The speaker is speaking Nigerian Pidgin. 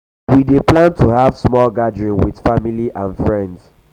we dey plan to have small gathering with family um and friends.